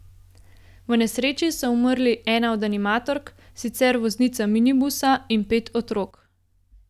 V nesreči so umrli ena od animatork, sicer voznica minibusa, in pet otrok.